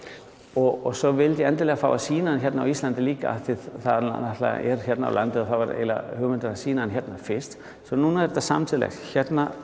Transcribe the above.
og svo vildi ég endilega fá að sýna hana hérna á Íslandi líka það náttúrulega er hérna á landi og það var eiginlega hugmyndin að sýna hana hérna fyrst svo núna er þetta samtímis hérna